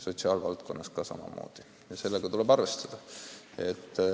Sotsiaalvaldkonnas on samamoodi ja sellega tuleb arvestada.